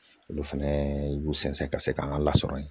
Olu fɛnɛ y'u sɛnsɛn ka se k'an ka lasɔrɔ yen